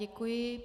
Děkuji.